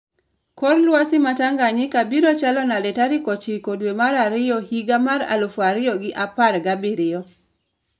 Kor lwasi ma tanganyika biro chalo nade tarik ochiko dwe mar ariyo higa mar aluf ariyo gi apar gabiriyo